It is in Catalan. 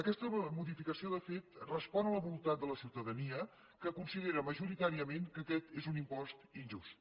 aquesta modificació de fet respon a la voluntat de la ciutadania que considera majoritàriament que aquest és un impost injust